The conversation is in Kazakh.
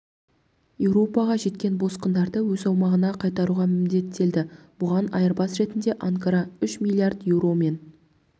еуропаға жеткен босқындарды өз аумағына қайтаруға міндеттелді бұған айырбас ретінде анкара үш млрд еуро мен